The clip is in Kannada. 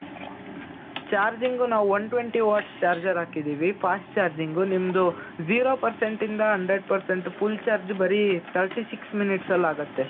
charging ನಾವು one twenty watts charger ಹಾಕಿದ್ದೀವಿ fast charging ನಿಮ್ದು zero percentಯಿಂದ hundred percent full charge ಬರೀ thirty six minutes ಅಲ್ಲಿ ಆಗುತ್ತೆ.